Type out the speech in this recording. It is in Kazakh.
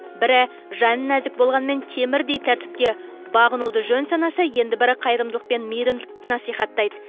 бірі жаны нәзік болғанымен темірдей тәртіпке бағынуды жөн санаса енді бірі қайырымдылық пен мейірімділікті насихаттайды